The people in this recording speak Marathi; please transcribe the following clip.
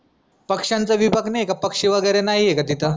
पक्ष्याचा विभाग नाई ए का पक्षी वगैरे नाई का तिथं?